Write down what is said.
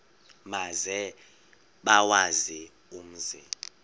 maze bawazi umzi